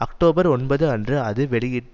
October ஒன்பது அன்று அது வெளியிட்டது